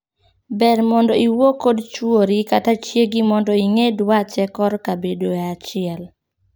Ber mondo iwuo kod chwori kata chiegi mondo ing'ee dwache korka bedoe achiel.